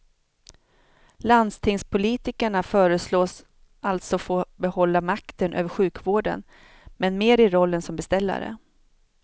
Landstingspolitikerna föreslås alltså få behålla makten över sjukvården, men mer i rollen som beställare.